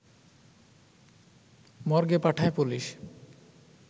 মর্গে পাঠায় পুলিশ